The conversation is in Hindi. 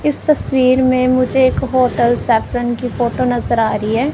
इस तस्वीर में मुझे एक होटल सैफरन की फोटो नजर आ रही है।